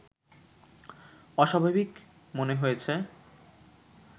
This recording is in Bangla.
অস্বাভাবিক মনে হয়েছে